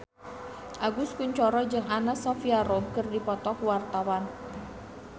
Agus Kuncoro jeung Anna Sophia Robb keur dipoto ku wartawan